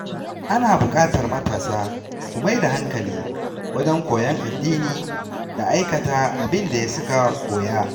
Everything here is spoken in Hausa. Ana buƙatar matasa su mai da hankali wajen koyon addini da aikata abin da suka koya.